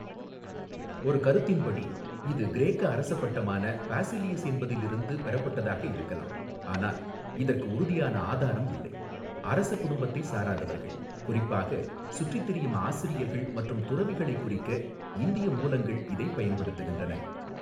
ஒரு கருத்தின்படி இது கிரேக்க அரச பட்டமான பாஸிலியஸ் என்பதிலிருந்து பெறப்பட்டதாக இருக்கலாம் ஆனால் இதற்கு உறுதியான ஆதாரம் இல்லை அரசக் குடும்பத்தைச் சாராதவர்கள் குறிப்பாகச், சுற்றித் திரியும் ஆசிரியர்கள் மற்றும் துறவிகளைக் குறிக்க இந்திய மூலங்கள் இதைப் பயன்படுத்துகின்றன.